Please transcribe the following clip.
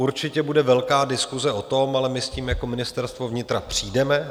Určitě bude velká diskuse o tom, ale my s tím jako Ministerstvo vnitra přijdeme.